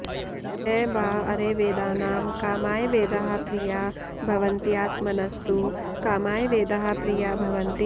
न वा अरे वेदानां कामाय वेदाः प्रिया भवन्त्यात्मनस्तु कामाय वेदाः प्रिया भवन्ति